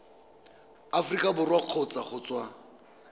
aforika borwa kgotsa go tswa